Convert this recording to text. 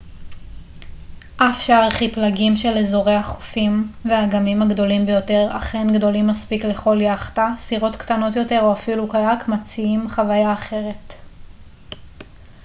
אף שארכיפלגים של אזורי החופים והאגמים הגדולים ביותר אכן גדולים מספיק לכל יאכטה סירות קטנות יותר או אפילו קיאק מציעים חוויה אחרת